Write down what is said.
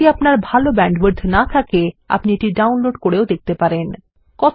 যদি আপনার ভাল ব্যান্ডউইডথ না থাকে আপনি এটি ডাউনলোড করেও দেখতে পারেন